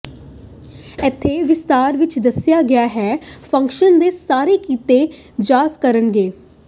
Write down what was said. ਇੱਥੇ ਵਿਸਥਾਰ ਵਿੱਚ ਦੱਸਿਆ ਗਿਆ ਹੈ ਫੰਕਸ਼ਨ ਦੇ ਸਾਰੇ ਕੀਤੀ ਜਾ ਕਰਨ ਲਈ